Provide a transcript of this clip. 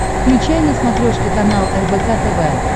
включай на смотрешке канал рбк тв